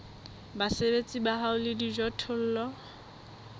basebeletsi ba hao le dijothollo